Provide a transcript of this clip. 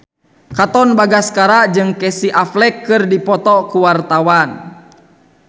Katon Bagaskara jeung Casey Affleck keur dipoto ku wartawan